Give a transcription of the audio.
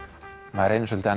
maður reynir svolítið